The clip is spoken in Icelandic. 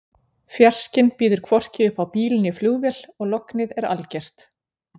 Fjarskinn býður hvorki upp á bíl né flugvél og lognið er algert.